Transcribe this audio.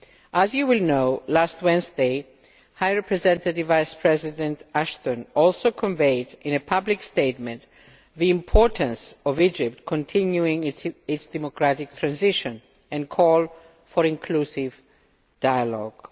As you will know, last Wednesday, High Representative Vice President Ashton also conveyed in a public statement the importance of Egypt continuing its democratic transition and called for inclusive dialogue.